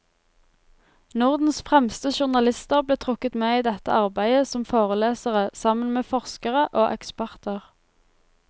Nordens fremste journalister ble trukket med i dette arbeidet som forelesere sammen med forskere og eksperter.